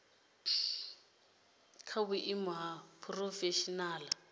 i kha vhuimo ha phurofeshinala